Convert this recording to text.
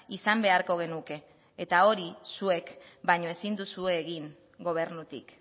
izan beharko genuke eta hori zuek baino ezin duzue egin gobernutik